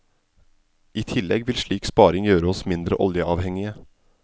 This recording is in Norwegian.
I tillegg vil slik sparing gjøre oss mindre oljeavhengige.